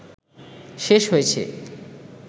শেষ হয়েছে